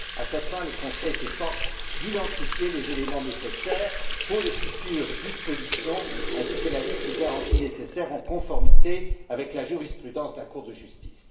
À cette fin, le Conseil s'efforce de recenser les éléments nécessaires aux futures dispositions ainsi que la liste des garanties nécessaires en conformité avec la jurisprudence de la Cour de justice.